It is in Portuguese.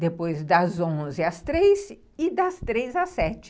depois das onze às três e das três às sete.